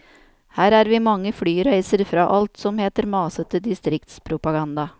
Her er vi mange flyreiser fra alt som heter masete distriktspropaganda.